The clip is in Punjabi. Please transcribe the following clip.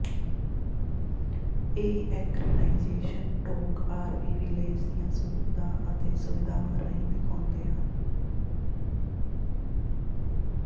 ਇਹ ਐਕਰੇਨਾਈਜੇਸ਼ਨ ਟੋਕ ਆਰਵੀ ਵਿਲੇਜ ਦੀਆਂ ਸਹੂਲਤਾਂ ਅਤੇ ਸੁਵਿਧਾਵਾਂ ਰਾਹੀਂ ਦਿਖਾਉਂਦੇ ਹਨ